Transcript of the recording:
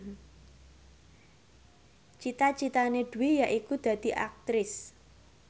cita citane Dwi yaiku dadi Aktris